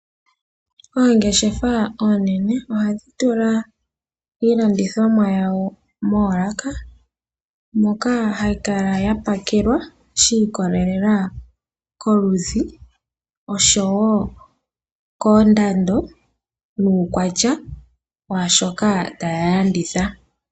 Oongeshefa oonene ohadhi tula iilandithomwa yawo moolaka moka hayi kala yapakelwa shiikolelela koluzi osho woo koondando nukwatya washoka taya landitha.